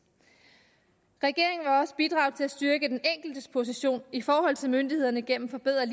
regeringen vil også bidrage til at styrke den enkeltes position i forhold til myndighederne gennem forbedret